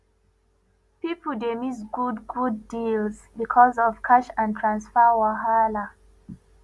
pipo dey miss good good deals because of cash and transfer wahala